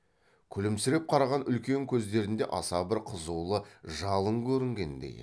күлімсіреп қараған үлкен көздерінде аса бір қызулы жалын көрінгендей еді